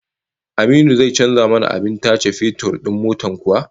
Aminu zai canza mana abin tace fetur din motar kuwa?